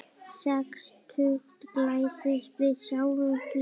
Sextugt glæst við sjáum víf.